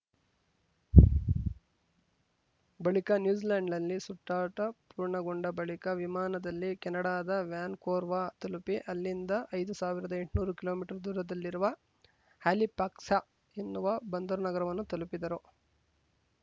ಬಳಿಕ ನ್ಯೂಜಿಲೆಂಡ್‌ನಲ್ಲಿ ಸುತ್ತಾಟ ಪೂರ್ಣಗೊಂಡ ಬಳಿಕ ವಿಮಾನದಲ್ಲಿ ಕೆನಡಾದ ವ್ಯಾನ್‌ಕೋರ್ವ ತಲುಪಿ ಅಲ್ಲಿಂದ ಐದು ಸಾವಿರದ ಎಂಟ್ನೂರು ಕಿಲೋಮೀಟರ್ ದೂರದಲ್ಲಿರುವ ಹಾಲಿಫ್ಯಾಕ್ಸ್‌ ಎನ್ನುವ ಬಂದರು ನಗರವನ್ನು ತಲುಪಿದರು